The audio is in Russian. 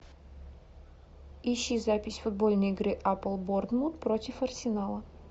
ищи запись футбольные игры апл борнмут против арсенала